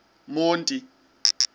monti